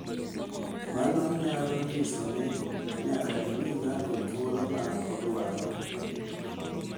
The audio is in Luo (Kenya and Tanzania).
Mano nyalo nyiso ni nyaka imi ng’ato thuolo ma odwaro .